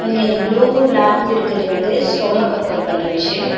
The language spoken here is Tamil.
இங்கந்த ப்ளூவு பிளாக்கு இருக்குது வந்து ஸ்டொமக் ஒர்க் அவுட் பண்ற மெஷின் .